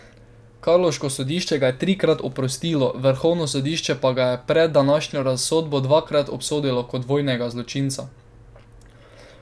Karlovško sodišče ga je trikrat oprostilo, vrhovno sodišče pa ga je pred današnjo razsodbo dvakrat obsodilo kot vojnega zločinca.